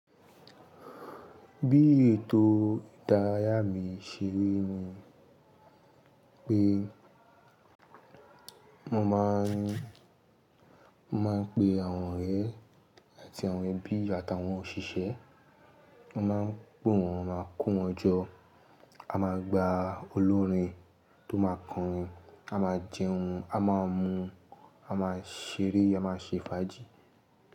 Bí ètò ìdárayá mi ṣeri ni pé mo máa ń, mo máa ń pe àwọn ọ̀rẹ́ àti àwọn ẹbí àtàwọn òṣìṣẹ́, mo máa ń pe wọ́n, máa ko wọn jọ, a máa gba olórin tó máa kọrin, a máa jẹun, a máa mu, a máa ṣeré, a máa ṣe fàájì.